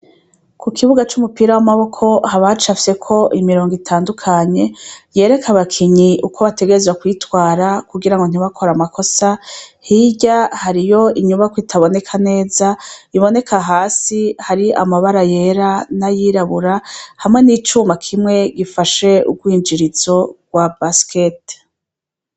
Kukibuga c’umupira w’amaboko hacapfyeko imirong’itandukanye, yerek’abakinyi uko bategerezwa kwitwara kugira ngo ntibakore amakosa , hirya hariyo inyubakw’itaboneka neza , iboneka hasi hari amabara yera n’ayirabura hamwe n’icuma kimwe gifashe ugwinjirizo gwa basiketi